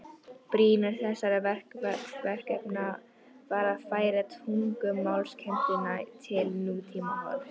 Brýnast þessara verkefna var að færa tungumálakennsluna til nútímahorfs.